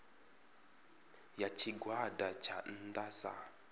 ya tshigwada tsha nnda sa